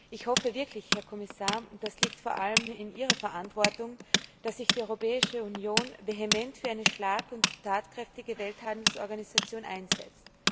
Ich hoffe wirklich Herr Kommissar, das liegt vor allem in Ihrer Verantwortung dass sich die Europäische Union vehement für eine schlag und tatkräftige Welthandelsorganisation einsetzt!